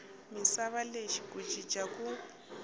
misava lexi ku cinca ku